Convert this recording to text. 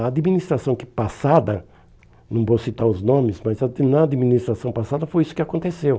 A administração que passada, não vou citar os nomes, mas a na administração passada foi isso que aconteceu.